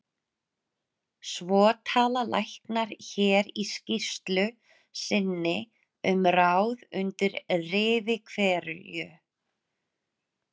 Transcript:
Svo tala læknar hér í skýrslu sinni um ráð undir rifi hverju